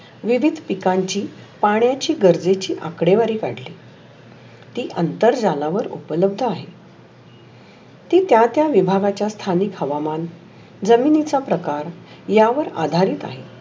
विधीत पिकांची पाहण्याची गरजेची आकडेवारी ती अं तर झाल्यावर उपलब्ध आहे. ती त्या त्या विभागाचा स्थानिक हवामन जमिनीचा प्रकार या वर आधारित आहे.